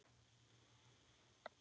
Og kynna fólkið sitt.